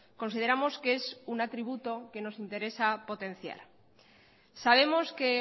consideramos que es un atributo que nos interesa potenciar sabemos que